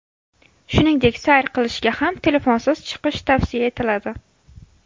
Shuningdek, sayr qilishga ham telefonsiz chiqish tavsiya etiladi.